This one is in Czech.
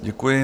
Děkuji.